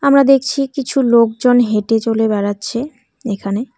আমরা দেখছি কিছু লোকজন হেঁটে চলে বেড়াচ্ছে এখানে।